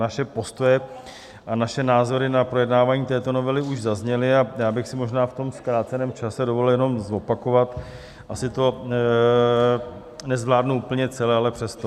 Naše postoje a naše názory na projednávání této novely už zazněly a já bych si možná v tom zkráceném čase dovolil jenom zopakovat - asi to nezvládnu úplně celé, ale přesto.